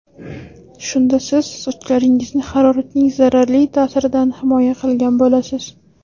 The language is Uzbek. Shunda siz sochlaringizni haroratning zararli ta’siridan himoya qilgan bo‘lasiz.